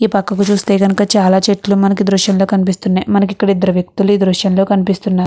ఈ పక్కకు చూస్తే గనుక చాలా చెట్లు మనకి దృశ్యం లో కనిపిస్తున్నాయి. మనకి ఇక్కడ ఇద్దరు వ్యక్తులు ఈ దృశ్యం లో కనిపిస్తున్నారు.